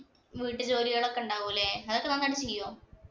വീട്ടുജോലികളൊക്കെ ഉണ്ടാവും അല്ലേ. അതൊക്കെ നന്നായിട്ട് ചെയ്യൊ?